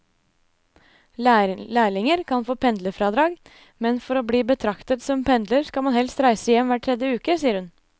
Lærlinger kan få pendlerfradrag, men for å bli betraktet som pendler skal man helst reise hjem hver tredje uke, sier hun.